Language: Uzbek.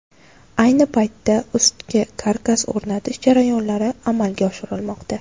Ayni paytda ustki karkas o‘rnatish jarayonlari amalga oshirilmoqda.